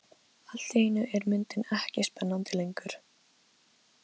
Allt í einu er myndin ekki spennandi lengur.